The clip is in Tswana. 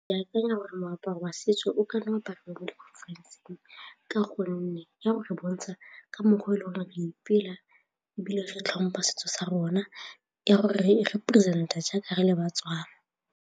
Ke akanya gore moaparo wa setso o kanna wa ka gonne ya go re bontsha ka mmogo e le gore ee ipela ebile re tlhompha setso sa rona ya gore re represent-a jaaka re le ba-Tswana.